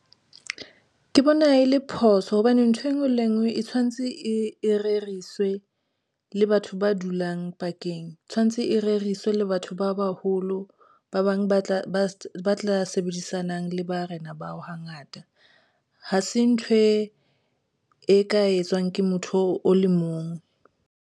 Ke bona e le phoso hobane ntho enngwe le enngwe e tshwantse e reriswe le batho ba dulang pakeng tshwantse e reriswe le batho ba baholo. Ba bang ba tla ba tla sebedisanang le barena bao hangata hase ntho e e ka etswang ke motho o le mong.